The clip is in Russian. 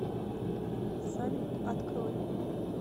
салют открой